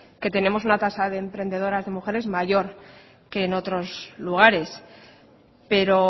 que tenemos una tasa de emprendedoras de mujeres mayor que en otros lugares pero